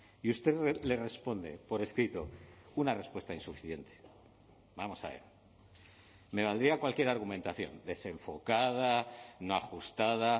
y usted le responde por escrito una respuesta insuficiente vamos a ver me valdría cualquier argumentación desenfocada no ajustada